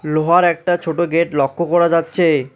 লোহার একটা ছোট গেট লক্ষ করা যাচ্ছে।